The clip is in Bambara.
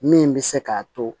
Min bɛ se k'a to